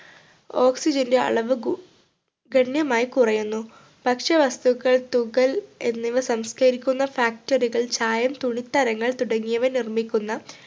oxygen ൻ്റെ അളവ് ഗു ഗണ്യമായി കുറയുന്നു ഭക്ഷ്യ വസ്തുക്കൾ തുകൽ എന്നിവ സംസ്കരിക്കുന്ന factory കൾ ചായം തുണിത്തരങ്ങൾ തുടങ്ങിയവ നിർമ്മിക്കുന്ന